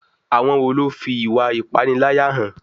Àwọn wo ló fi ìwà ìpániláyà hàn?